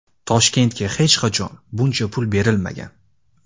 Toshkentga hech qachon buncha pul berilmagan.